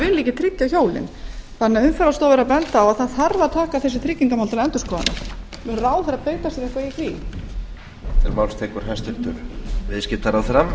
ekki tryggja hjólin þannig að umferðarstofa er að benda á að það þarf að taka þessi tryggingmál til endurskoðunar mun ráðherra beita á eitthvað í því